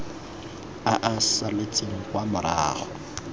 a a saletseng kwa morago